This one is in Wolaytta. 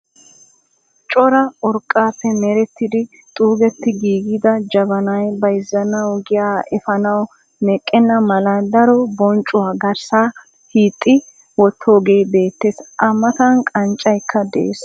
Cora urqqaappe merettidi xuugetti giigida jabanay bayzzanawu giyaa efaanawu meqqenna mala daro bonccuwa garssaara hiixxidi wottoogee beettees. A matan qanccaykka de'ees.